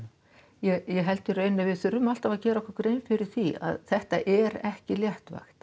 ég held að í raun að við þurfum alltaf að gera okkur grein fyrir því að þetta er ekki léttvægt